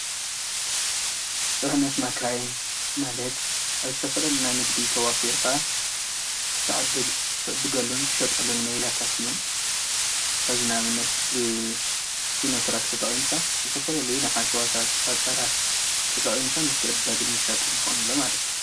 Baldish Odile origins died folding Odile off Fido’s